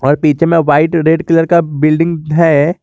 और पीछे में व्हाइट और रेड कलर का बिल्डिंग है।